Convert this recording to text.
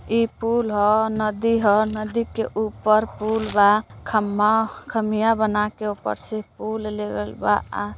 ई पूल ह। नदी ह। नदी के ऊपर पूलबा। खंबा खमिया बना के ऊपर से पुल ले गइल बा।